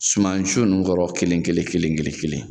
Suman si ninnu kɔrɔ kelen kelen kelen kelen